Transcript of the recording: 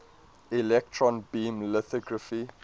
electron beam lithography